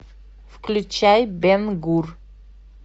включай бен гур